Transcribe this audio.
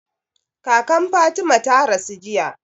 Kakan Fatima ta rasu jiya.